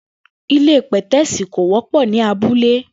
Ilé pè̩té̩sì kò wó̩pò̩ ní abúlé